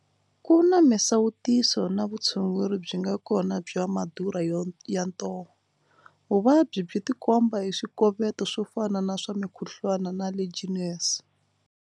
Ku na misawutiso na vutshunguri byi nga kona bya Madurha ya ntoho. Vuvabyi byi tikomba hi swikoweto swo fana na swa mikhuhlwani na Legionnaires.